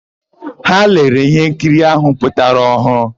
Ha lere íhénkiri áhụ̀ pụtara ọhụụ.